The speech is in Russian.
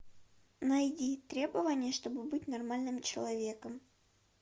найди требования чтобы быть нормальным человеком